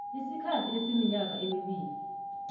isikhathi esiminyaka emibili